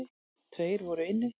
Tveir voru inni.